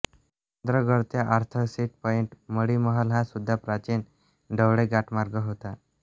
चंद्रगड ते Arthur Seat point Madhi Mahal हा सुद्धा प्राचीन ढवळे घाटमार्ग होता